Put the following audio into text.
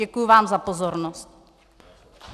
Děkuju vám za pozornost.